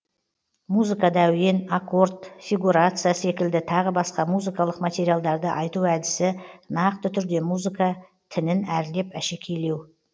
музыкада әуен аккорд фигурация секілді тағы басқа музыкалық материалдарды айту әдісі нақты түрде музыка тінін әрлеп әшекейлеу